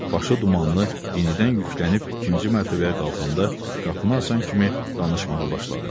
Başı dumanlı yenidən yüklənib ikinci mərtəbəyə qalxanda qapını asan kimi danışmağa başladı.